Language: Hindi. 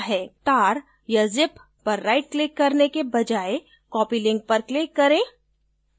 tar या zip पर right click करने के बजाय copy link पर click करें